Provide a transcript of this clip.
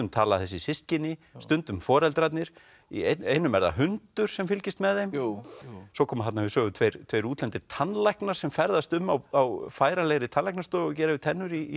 tala þessi systkini stundum foreldrarnir í einum er það hundur sem fylgist með þeim jú svo koma þarna við sögu tveir tveir útlendir tannlæknar sem ferðast um á færanlegri tannlæknastofu og gera við tennur í